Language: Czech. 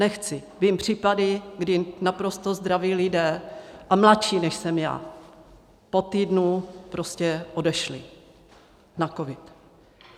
Nechci, vím případy, kdy naprosto zdraví lidé, a mladší než jsem já, po týdnu prostě odešli na covid.